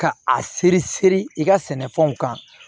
Ka a seri seri i ka sɛnɛfɛnw kan